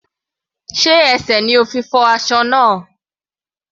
Sé ẹsẹ̀ ni o fi fọ́ aṣọ náà?